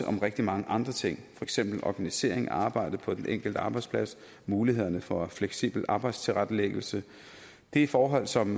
om rigtig mange andre ting for eksempel organisering af arbejdet på den enkelte arbejdsplads og mulighederne for fleksibel arbejdstilrettelæggelse det er forhold som